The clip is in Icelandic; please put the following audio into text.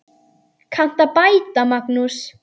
Kanntu að bæta, Magnús?